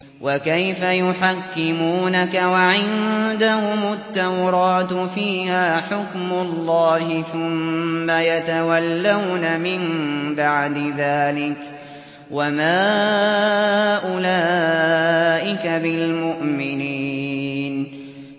وَكَيْفَ يُحَكِّمُونَكَ وَعِندَهُمُ التَّوْرَاةُ فِيهَا حُكْمُ اللَّهِ ثُمَّ يَتَوَلَّوْنَ مِن بَعْدِ ذَٰلِكَ ۚ وَمَا أُولَٰئِكَ بِالْمُؤْمِنِينَ